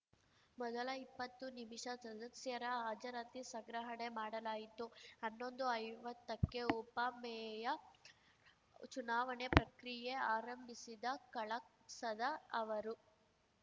ಮೊದಲ ಇಪ್ಪತ್ತು ನಿಮಿಷ ಸದಸ್ಯರ ಹಾಜರಾತಿ ಸಂಗ್ರಹಣೆ ಮಾಡಲಾಯಿತು ಹನ್ನೊಂದುಐವತ್ತಕ್ಕೆ ಉಪಮೇಯ ಚುನಾವಣೆ ಪ್ರಕ್ರಿಯೆ ಆರಂಭಿಸಿದ ಕಳಸದ ಅವರು